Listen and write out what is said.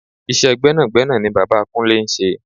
Iṣẹ́ gbẹ́nàgbẹ́nà ni bàbá Kúnlé ń ṣe.